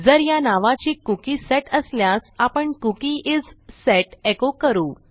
जर या नावाची कुकी सेट असल्यास आपण कुकी इस सेट एको करू